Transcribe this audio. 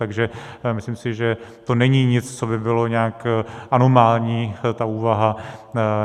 Takže si myslím, že to není nic, co by bylo nějak anomální, ta úvaha.